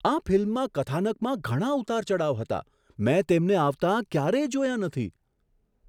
આ ફિલ્મમાં કથાનકમાં ઘણા ઉતારચડાવ હતા! મેં તેમને આવતા ક્યારેય જોયા નથી.